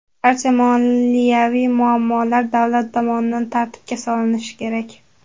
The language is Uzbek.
Barcha moliyaviy muammolar davlat tomonidan tartibga solinishi kerak.